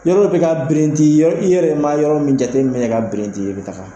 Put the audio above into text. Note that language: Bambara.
Yarɔ i bɛ ka birinti yɔrɔ , i yɛrɛ ma yɔrɔ min jate minɛ ka birinti, i bɛ taga.